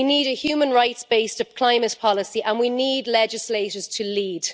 We need a human rights based climate policy and we need legislators to lead.